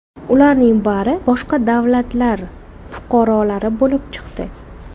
Ularning bari boshqa davlatlar fuqarolari bo‘lib chiqdi.